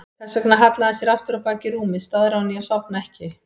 Þess vegna hallaði hann sér aftur á bak í rúmið, staðráðinn í að sofna ekki.